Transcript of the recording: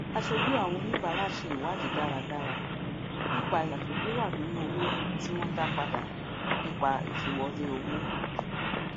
aṣojú àwọn oníbàárà ṣe ìwádìí dáradára nípa ìyàtọ tó wà nínú owó tí wọn dá padà nípa ìfìwọlé owó